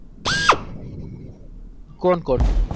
કોન કોન